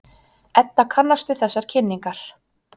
Edda kannast við þessar kynningar.